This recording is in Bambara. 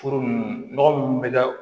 Furu nunnu nɔgɔ munnu bɛ ka